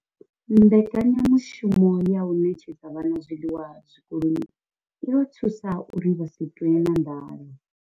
Mbekanyamushumo ya u ṋetshedza vhana zwiḽiwa zwikoloni i vha thusa uri vha si ṱwe na nḓala.